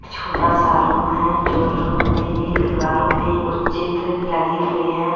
छोटा सा रूम है जो रूम मे ये दीवारो मे कुछ चित्र लगे हुए है।